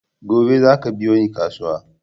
Gobe zaku biyo ni kasuwa!